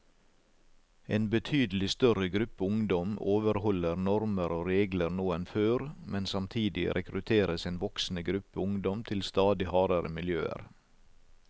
En betydelig større gruppe ungdom overholder normer og regler nå enn før, men samtidig rekrutteres en voksende gruppe ungdom til stadig hardere miljøer.